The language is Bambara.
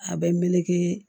A bɛ meleke